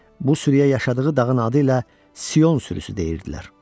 Bu sürüyə yaşadığı dağın adı ilə Sion sürüsü deyirdilər.